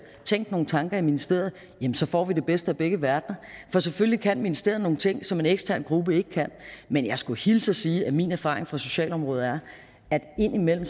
tænkt nogle tanker i ministeriet får vi det bedste af begge verdener for selvfølgelig kan ministeriet nogle ting som en ekstern gruppe ikke kan men jeg skulle hilse og sige at min erfaring fra socialområdet er at indimellem